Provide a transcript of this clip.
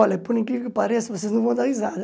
Olha, por incrível que pareça, vocês não vão dar risada.